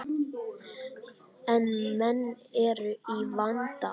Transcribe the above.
En menn eru í vanda.